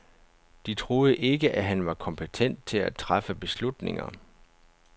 De troede ikke, at han var kompetent til at træffe beslutninger.